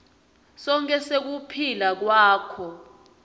sonkhe sekuphila kwakho